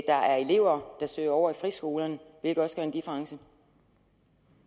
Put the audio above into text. der er elever der søger over i friskolerne hvilket også giver en difference